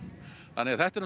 þannig að þetta er